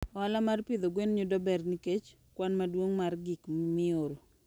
Ohala mar pidho gwen yudo ber nikech kwan maduong' mar gik mioro.